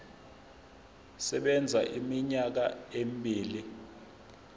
sisebenza iminyaka emibili